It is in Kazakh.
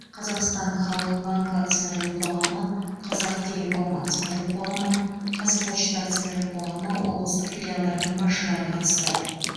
қазақстан халық банкі акционерлік қоғамы қазақтелеком акционерлік қоғамы қазпочта акционерлік қоғамы облыстық филиалдарының басшылары қатысты